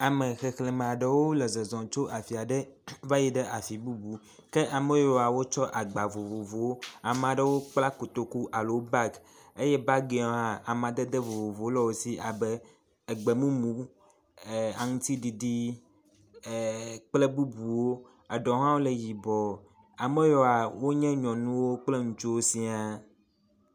ame xexlemeaɖewo le zɔzɔ tso afiaɖe vayiɖe afi bubu ke ameyiwoa wótsɔ agba vovowó amaɖewo kpla kotoku alo bag eye bagiwo hã amadede vovovowó le wósi abe egbe múmu ee aŋtiɖiɖi ee kple bubuwo eɖewo hã le yibɔɔ ameyiwoa wónye nyɔnu kple ŋutsu siã